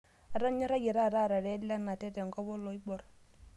Atonyorayie taata aarare Lenate tenkop oloibor